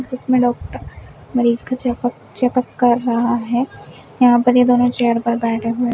जिसमें डॉक्टर मरीज का चेकअप चेकअप कर रहा है यहां पर ये दोनों चेयर पर बैठे हुए--